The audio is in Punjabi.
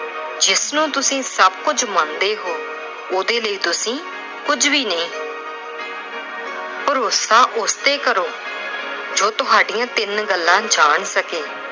ਜਿਸਨੂੰ ਤੁਸੀਂ ਸਭ ਕੁਝ ਮੰਨਦੇ ਓ, ਉਹਦੇ ਲਈ ਤੁਸੀਂ ਕੁਛ ਵੀ ਨਹੀਂ। ਭਰੋਸਾ ਉਸ ਤੇ ਕਰੋ ਜੋ ਤੁਹਾਡੀਆਂ ਤਿੰਨ ਗੱਲਾਂ ਜਾਣ ਸਕੇ